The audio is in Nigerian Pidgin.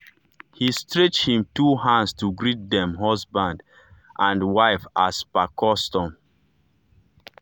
he stretch him two hand to greet dem husband dem husband and wife as per custom.